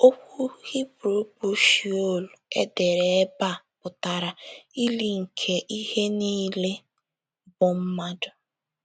Okwu Hibru bụ́ “ Shiol ” e dere ebe a pụtara “ ili nke ihe niile bụ́ mmadụ. ”